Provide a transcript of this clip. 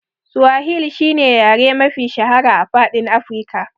Suwahil shine yare mafi shahara a faɗin Afika.